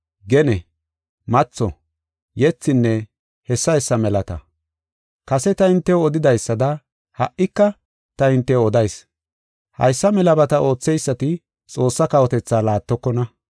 gene, matho, yethinne hessa hessa melata. Kase ta hintew odidaysada ha77ika ta hintew odayis. Haysa melabata ootheysati Xoossaa kawotethaa laattokona.